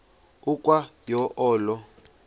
ukwa yo olo